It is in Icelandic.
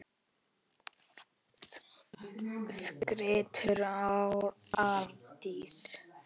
skríkti Arndís.